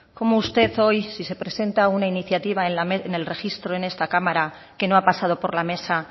cómo usted hoy si se presenta una iniciativa en el registro en esta cámara que no ha pasado por la mesa